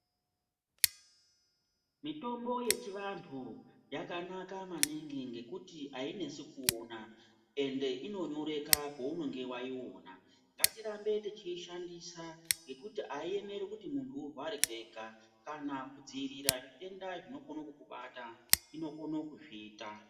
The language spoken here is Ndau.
Mitombo yechivanhu yakanaka maningi ngekuti ayinesi kuona ende inonyoreka paunenge waiona ngatirambe techiishandisa ngekuti aiemeri kuti munhu urware kwega kana kudziirira zvitenda zvinokone kukubata inokone kuzviita.